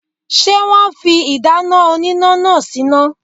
Ṣé wọn fi ìdáná oníná náà síná?.